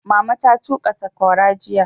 Mama ta tuƙa saƙwara jiya.